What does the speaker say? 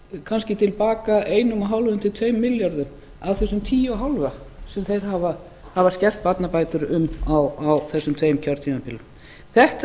kannski til baka einum og hálfum til tveim milljörðum af þessum tíu og hálfa sem þeir hafa skert barnabætur um á þessum tveim kjörtímabilum þetta eru